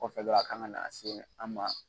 Kɔfɛ dɔrɔnw a kan ka na se an ma.